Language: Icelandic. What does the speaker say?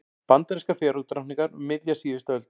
Bandarískar fegurðardrottningar um miðja síðustu öld.